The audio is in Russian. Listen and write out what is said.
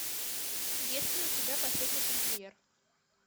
есть ли у тебя последний тамплиер